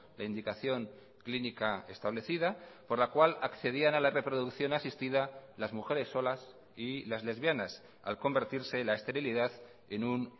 la indicación clínica establecida por la cual accedían a la reproducción asistida las mujeres solas y las lesbianas al convertirse la esterilidad en un